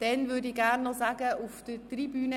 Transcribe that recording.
Ich begrüsse Gäste auf der Tribüne.